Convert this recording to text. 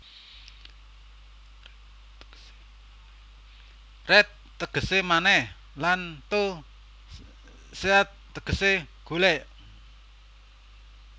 Re tegese manèh lan ta search tegese golek